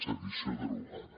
sedició derogada